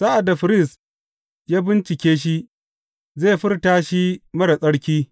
Sa’ad da firist ya bincike shi, zai furta shi marar tsarki.